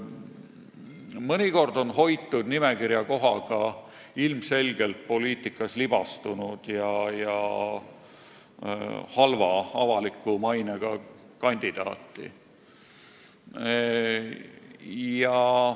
Mõnikord on hoitud nimekirja kohaga ilmselgelt poliitikas libastunud ja halva avaliku mainega kandidaati.